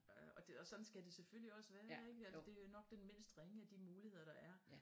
Og sådan skal det selvfølgelig også være ik altså det er jo nok den mindst ringe af de muligheder der er